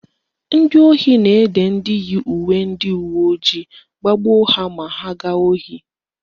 Ndị ohi na-ede ndị yi uwe ndị uweojii iji gbagbuo ha ma ha gaa ohi